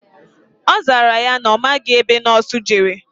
Ọzara ya na amaghi ebe nọọsụ jere